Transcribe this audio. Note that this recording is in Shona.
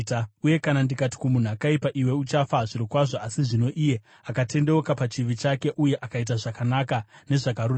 Uye kana ndikati kumunhu akaipa, ‘Iwe uchafa zvirokwazvo,’ asi zvino iye akatendeuka pachivi chake uye akaita zvakanaka nezvakarurama,